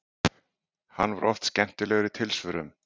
Hann var oft skemmtilegur í tilsvörum.